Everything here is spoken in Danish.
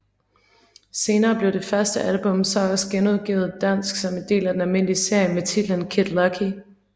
Senere blev det første album så også genudgivet dansk som en del af den almindelige serie med titlen Kid Lucky